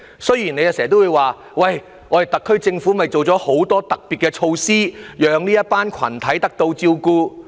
雖然你經常說，特區政府已推出很多特別措施，讓這些群體得到照顧。